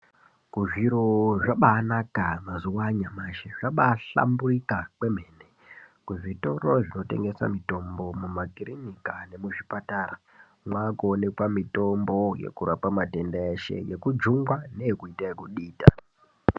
Zviro zvabanaka mazuvano zviro zvabahlamburika kwemene. Kuzvitoro zvinotengesa mitombo mumakirinika nekuzvipatara mwakuonekwa mitombo yekurapa matenda ese yekujungwa neyekuita yekudita.